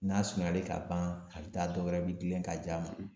N'a surunyalen ka ban , a bɛ taa dɔ wɛrɛ bɛ girin ka j'a ma.